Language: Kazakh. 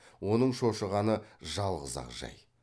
оның шошығаны жалғыз ақ жай